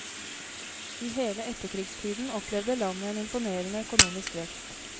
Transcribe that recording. I hele etterkrigstiden opplevde landet en imponerende økonomisk vekst.